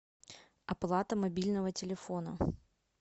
оплата мобильного телефона